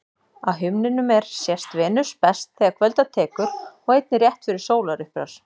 Á himninum er sést Venus best þegar kvölda tekur og einnig rétt fyrir sólarupprás.